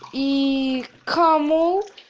и кому